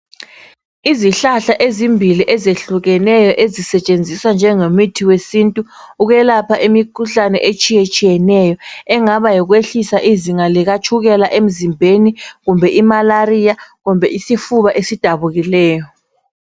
Izihlahla ezimbili ezehlukeneyo ezisetshenziswa njengemithi wesintu ukwelapha imikhuhlane etshiyetshiyeneyo engaba yikwehlisa izinga likatshukela emzimbeni, kumbe i"malaria ",kumbe isifuba esidabukileyo.